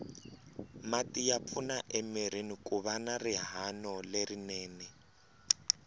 mati ya pfuna emirini kuva na rihanolerinene